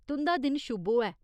तुं'दा दिन शुभ होऐ।